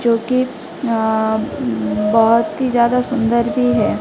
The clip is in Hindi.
जो की अं बहोत ही ज्यादा सुंदर भी है।